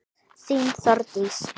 Þín, Þórdís.